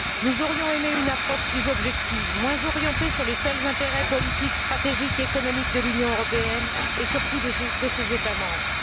Nous aurions aimé une approche plus objective, moins orientée sur les seuls intérêts politique, stratégiques et économiques de l'Union européenne et surtout de ses États membres.